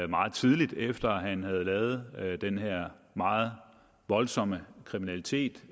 meget tidligt efter at have lavet den her meget voldsomme kriminalitet